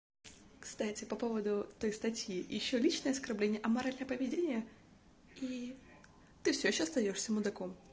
кстати по поводу той статьи ещё личное оскорбление аморальное поведение и ты все ещё остаёшься мудаком